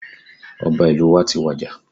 Ọba ìlú wa ti wàjà